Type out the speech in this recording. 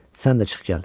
Sən də çıx gəl.